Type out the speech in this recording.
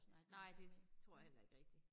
Nej det tror jeg heller ikke rigtig